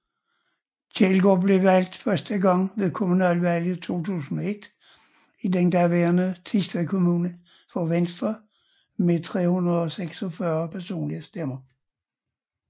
Kjelgaard blev valgt første gang ved kommunalvalget i 2001 i den daværende Thisted Kommune for Venstre med 346 personlige stemmer